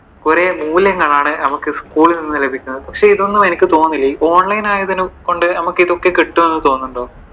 കുറെ മൂല്യങ്ങളാണ് നമുക്കു സ്കൂളിൽ നിന്ന് ലഭിക്കുന്നത്. പക്ഷെ ഇതൊന്നും എനിക്ക് തോന്നുന്നില്ല online ആയതുകൊണ്ട് നമുക്കു ഇതിക്കെ കിട്ടും എന്ന് തോന്നുന്നുണ്ടോ?